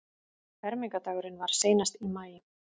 Fermingardagurinn var seinast í maí.